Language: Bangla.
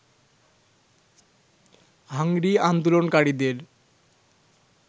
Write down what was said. হাংরি আন্দোলনকারীদের